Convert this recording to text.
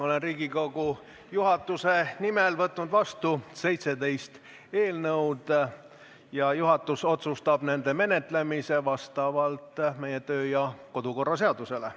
Olen Riigikogu juhatuse nimel võtnud vastu 17 eelnõu ja juhatus otsustab nende menetlemise vastavalt meie kodu- ja töökorra seadusele.